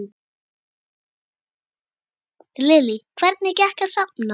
Lillý: Hvernig gekk að safna?